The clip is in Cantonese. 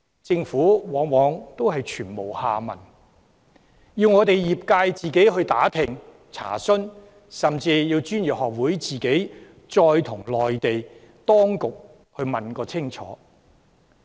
政府往往全無下文，業界要自行打聽和查詢，專業學會甚至要直接向內地當局問個清楚。